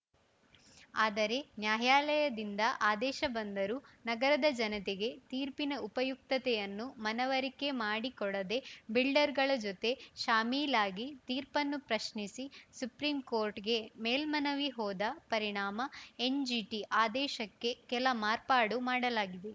ಆದರೆ ನ್ಯಾಯಾಲಯದಿಂದ ಆದೇಶ ಬಂದರೂ ನಗರದ ಜನತೆಗೆ ತೀರ್ಪಿನ ಉಪಯುಕ್ತತೆಯನ್ನು ಮನವರಿಕೆ ಮಾಡಿಕೊಡದೆ ಬಿಲ್ಡರ್‌ಗಳ ಜೊತೆ ಶಾಮೀಲಾಗಿ ತೀರ್ಪನ್ನು ಪ್ರಶ್ನಿಸಿ ಸುಪ್ರೀಂಕೋರ್ಟ್‌ಗೆ ಮೇಲ್ಮನವಿ ಹೋದ ಪರಿಣಾಮ ಎನ್‌ಜಿಟಿ ಆದೇಶಕ್ಕೆ ಕೆಲ ಮಾರ್ಪಾಡು ಮಾಡಲಾಗಿದೆ